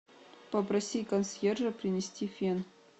попроси консьержа принести фен